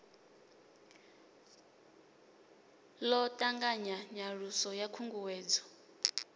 ḓo ṱanganya nyaluso ya khunguwedzo